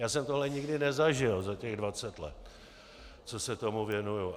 Já jsem tohle nikdy nezažil za těch dvacet let, co se tomu věnuji.